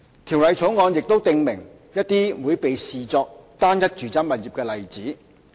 《條例草案》亦訂明一些會被視作單一住宅物業的例子。